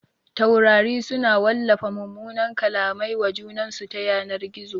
Taurari su na wallafa mumunan kallamai wa junansu ta yanar gizo